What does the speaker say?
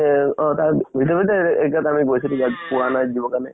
এহ অ তাৰ ভিতৰে ভিতৰে আমি গৈছিলো যʼত পোৱা নাই দিব কাৰণে।